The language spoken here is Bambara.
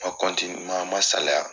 n man n man saliya.